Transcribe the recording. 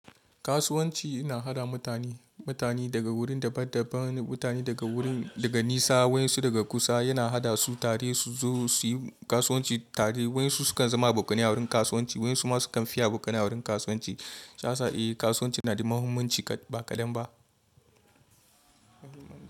Kasuwanci ina haɗa mutane, mutane daga wurin daban-daban, mutane daga wurin, daga nesa, wasu daga kusa yana haɗa su tare su zo suyi kasuwanci tare. Wayansu sukan zama abokanai a wurin kasuwanci, wasu ma sukan fi abokanai a wurin kasuwanci. Shi yasa eh kasuwanci na da muhimmanci ba kadan ba.